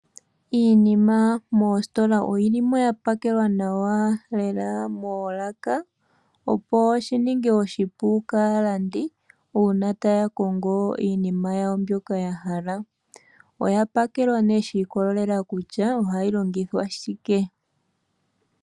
Iinima moositola oyilimo ya pakelwa nawa lela moolaka, opo shininge oshipu kaalandi, uuna taya kongo iinima yawo mbyoka yahala. Oya pakelwa shi ikolelela kutya ohayi longithwa shike.